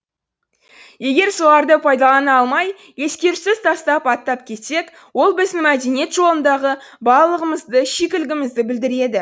егер соларды пайдалана алмай ескерусіз тастап аттап кетсек ол біздің мәдениет жолындағы балалығымызды шикілігімізді білдіреді